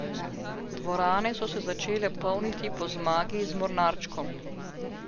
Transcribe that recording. Dvorane so se začele polniti po zmagi z Mornarčkom.